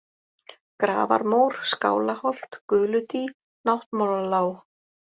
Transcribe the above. Grafarmór, Skálaholt, Guludý, Náttmálalág